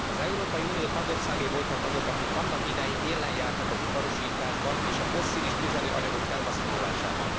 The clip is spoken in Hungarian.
Az Európai Unió tagországai voltak azok, akik annak idején élen jártak az iparosításban, és a fosszilis tüzelőanyagok felhasználásában.